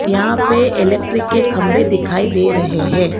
यहां पे इलेक्ट्रिक के खंभे दिखाई दे रहे हैं।